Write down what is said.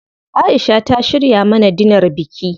Aisha ta shirya mana dinar biki.